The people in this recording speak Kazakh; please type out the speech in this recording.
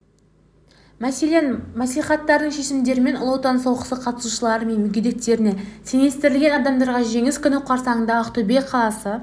мәселен мәслихаттардың шешімдерімен ұлы отан соғысы қатысушылары мен мүгедектеріне теңестірілген адамдарға жеңіс күні қарсаңында ақтөбе қаласы